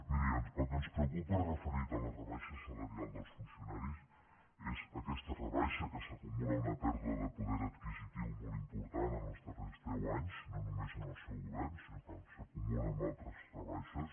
miri el que ens preocupa referit a la rebaixa salarial dels funcionaris és aquesta rebaixa que s’acumula a una pèrdua de poder adquisitiu molt important en els darrers deu anys no només en el seu govern sinó que s’acumula a altres rebaixes